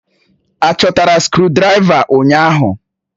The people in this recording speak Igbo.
Achọtara skrụdiraiva ụnyahụ?